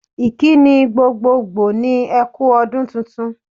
Ìkíni gbgogbogbò ni e kú ọdún tuntun.